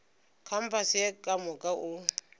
kampase ye ka moka o